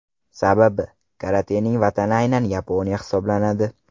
Sababi, karatening vatani aynan Yaponiya hisoblanadi.